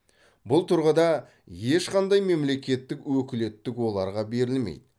бұл тұрғыда ешқандай мемлекеттік өкілеттік оларға берілмейді